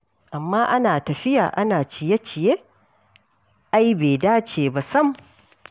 Amma ana tafiya ana ciye-ciye ai bai dace ba sam.